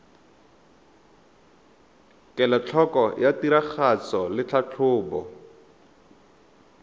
kelotlhoko ya tiragatso le tlhatlhobo